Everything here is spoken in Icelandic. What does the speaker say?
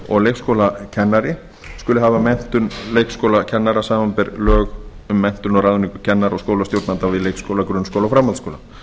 og leikskólakennarar skuli hafa menntun leikskólakennara samanber lög um menntun og ráðningu kennara og skólastjórnenda við leikskóla grunnskóla og framhaldsskóla